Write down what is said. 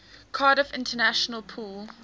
cardiff international pool